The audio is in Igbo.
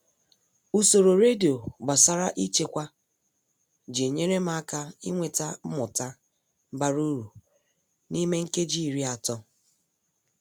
Usoro redio gbasara ịchekwa ji nyere m aka inweta mmụta bara uru n'ime nkeji iri atọ